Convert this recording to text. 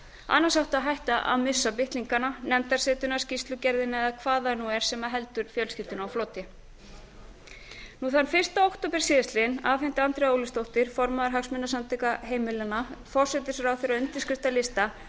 annars eiga menn á hættu að missa bitlingana nefndarsetuna skýrslugerðina eða hvað það nú er sem heldur fjölskyldunni á floti þann fyrsta október afhenti andrea ólafsdóttir formaður hagsmunasamtaka heimilanna forsætisráðherra undirskriftalista